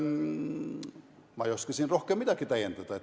Ma ei oska siin rohkem midagi täiendada.